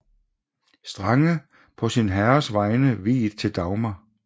Strange på sin herres vegne viet til Dagmar